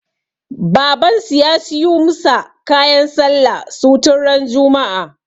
Baban su ya siyu musa kayan sallah su tun ran juma'a